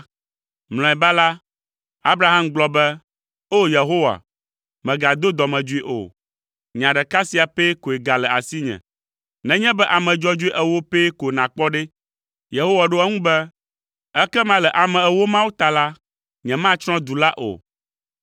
Mlɔeba la, Abraham gblɔ be, “O, Yehowa, mègado dɔmedzoe o; nya ɖeka sia pɛ koe gale asinye, nenye be ame dzɔdzɔe ewo pɛ ko nàkpɔ ɖe?” Yehowa ɖo eŋu be, “Ekema le ame ewo mawo ta la, nyematsrɔ̃ du la o.”